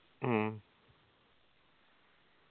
മ്മ്